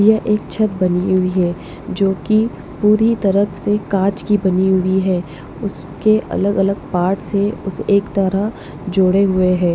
यह एक छत बनी हुई है जो कि पूरी तरह से काँच की बनी हुई है उसके अलग-अलग पार्ट्स से उस एक तरह जोड़े हुए हैं।